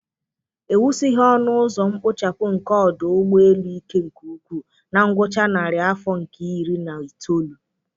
É wusighi ọnụ ụzọ mkpochapụ nke ọdụ ụgbọ elu ike nke ukwuu na ngwụcha narị afọ nke iri na itoolu